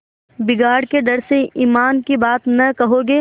बिगाड़ के डर से ईमान की बात न कहोगे